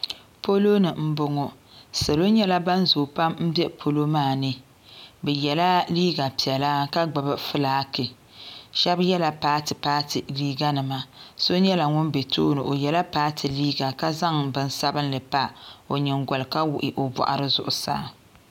Poloni m boŋɔ salo nyɛla ban zoo pam m be polo maani bɛ yela liiga piɛla ka gbibi filaaki shaba yela paati paati liiga nima so nyɛla ŋun be tooni o yela paati liiga ka zaŋ binsabinli pa o nyingoli ka wuɣi o boɣari zuɣusaa.